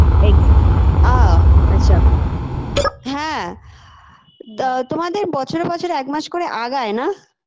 egg আ আচ্ছা হ্যাঁ breath তা তোমাদের বছরে বছরে এক মাস করে আগায় না